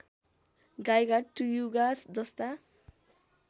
गाइघाट त्रियुगा जस्ता